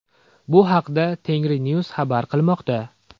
Bu haqda Tengri News xabar qilmoqda .